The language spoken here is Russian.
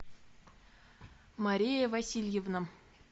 мария васильевна